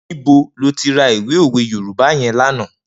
Nibó ló ti rà ìwé ówé Yorùbá yèn lànã?